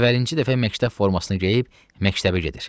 Əvvəlkinci dəfə məktəb formasını geyib məktəbə gedir.